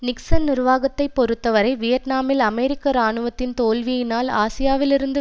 Nixon நிர்வாகத்தை பொறுத்தவரை வியட்நாமில் அமெரிக்க இராணுவத்தின் தோல்வியினால் ஆசியாவிலிருந்து